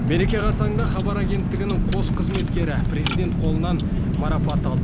мереке қарсаңында хабар агенттігінің қос қызметкері президент қолынан марапат алды